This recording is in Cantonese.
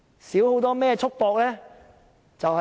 少了甚麼束縛呢？